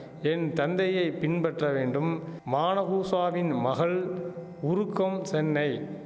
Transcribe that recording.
என் தந்தையை பின்பற்ற வேண்டும் மானகூஷாவின் மகள் உருக்கம் சென்னை